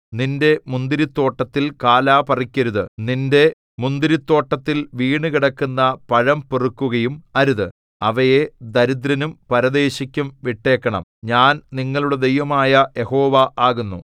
നിന്റെ മുന്തിരിത്തോട്ടത്തിൽ കാലാ പറിക്കരുത് നിന്റെ മുന്തിരിത്തോട്ടത്തിൽ വീണുകിടക്കുന്ന പഴം പെറുക്കുകയും അരുത് അവയെ ദരിദ്രനും പരദേശിക്കും വിട്ടേക്കണം ഞാൻ നിങ്ങളുടെ ദൈവമായ യഹോവ ആകുന്നു